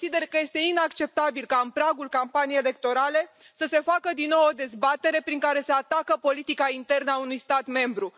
Consider că este inacceptabil ca în pragul campaniei electorale să se facă din nou o dezbatere prin care se atacă politica internă a unui stat membru.